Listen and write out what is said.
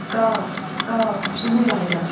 Qalx, qalx ulu bayraq.